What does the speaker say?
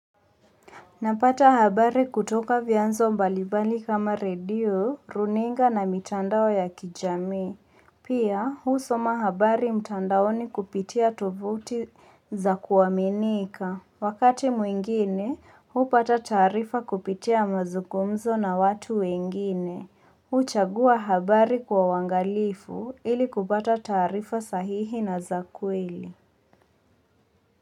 Napata habari kutoka vyanzo mbalibali kama radio, runinga na mitandao ya kijamii. Pia husoma habari mtandaoni kupitia tovuti za kuaminika. Wakati mwingine, huupata taarifa kupitia mazungumzo na watu wengine. Huchagua habari kwa uangalifu ili kupata taarifa sahihi na za kweli.